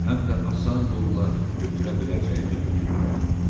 Həm də asan yolla götürə biləcəyimi götürürəm.